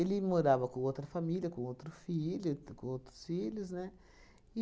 morava com outra família, com outro filho, com outros filhos, né?